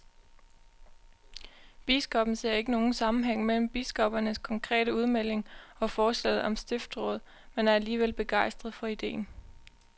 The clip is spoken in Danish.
Biskoppen ser ikke nogen sammenhæng mellem biskoppernes konkrete udmelding og forslaget om stiftsråd, men er alligevel begejstret for ideen.